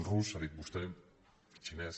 rus ha dit vostè xinès